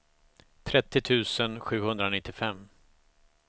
trettio tusen sjuhundranittiofem